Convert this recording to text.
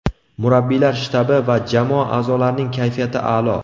Murabbiylar shtabi va jamoa a’zolarining kayfiyati a’lo.